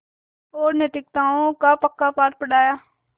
और नैतिकताओं का पक्का पाठ पढ़ाया